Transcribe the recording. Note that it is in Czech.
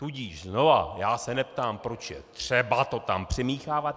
Tudíž znova, já se neptám, proč je třeba to tam přimíchávat.